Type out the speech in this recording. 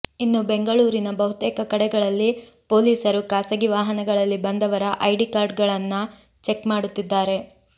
ಇನ್ನು ಬೆಂಗಳೂರಿನ ಬಹುತೇಕ ಕಡೆಗಳಲ್ಲಿ ಪೊಲೀಸರು ಖಾಸಗಿ ವಾಹನಗಳಲ್ಲಿ ಬಂದವರ ಐಡಿ ಕಾರ್ಡ್ ಗಳನ್ನಾ ಚೆಕ್ ಮಾಡುತ್ತಿದ್ದಾರೆ